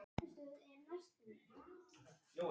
Í umræðu var hún sem stríðsmaður.